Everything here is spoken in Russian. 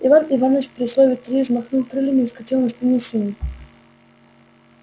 иван иваныч при слове три взмахнул крыльями и вскочил на спину свиньи